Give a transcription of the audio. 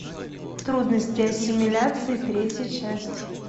трудности ассимиляции третья часть